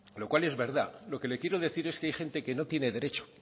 lo cual es verdad lo que le quiero decir es que hay gente que no tiene derecho